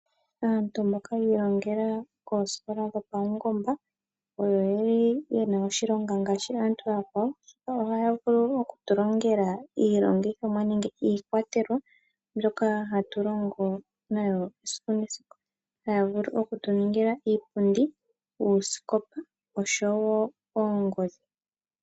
Aantu mboka yiilongela koosikola dho paungomba oyo yeli oyena oshilonga ngaashi aantu aakwawo ,oshoka ohaya vulu oku tulongela iilongithomwa nenge iikwatelwa mbyoka hatulongo nayo esiku nesiku ,haya vulu okutu ningila iipundi, uusikopa osho wo oongodhi.